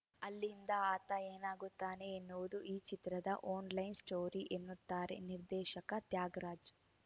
ಅಲ್ಲಿಂದ ಆತ ಏನಾಗುತ್ತಾನೆ ಎನ್ನುವುದು ಈ ಚಿತ್ರದ ಒನ್‌ಲೈನ್‌ ಸ್ಟೋರಿ ಎನ್ನುತ್ತಾರೆ ನಿರ್ದೇಶಕ ತ್ಯಾಗರಾಜ್‌